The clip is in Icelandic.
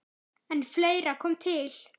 En fleira kom til.